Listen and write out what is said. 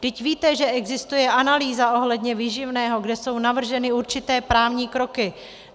Vždyť víte, že existuje analýza ohledně výživného, kde jsou navrženy určité právní kroky.